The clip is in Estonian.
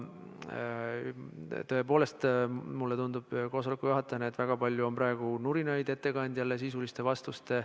Tõepoolest, mulle koosoleku juhatajana tundub, et väga palju on praegu nurinat selle üle, et ettekandja ei anna sisulisi vastuseid.